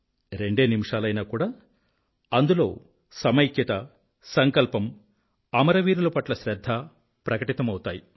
రెండు నిమిషాలైనా కూడా అందులో సమైక్యత సంకల్పం అమరవీరుల పట్ల శ్రద్ధ ప్రకటితమౌతాయి